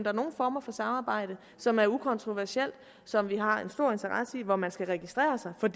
er nogle former for samarbejde som er ukontroversielle som vi har en stor interesse i og hvor man skal registrere sig for